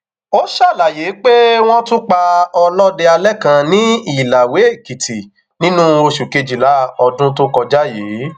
ó ṣàlàyé pé wọn tún pa ọlọdẹ alẹ kan ní ìlàwéèkìtì nínú oṣù kejìlá ọdún tó kọjá yìí